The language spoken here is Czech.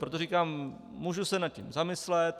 Proto říkám, můžu se nad tím zamyslet.